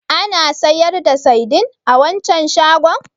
Ana sayar da saidin a waccan shagon?